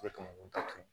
O de kama ko ta kun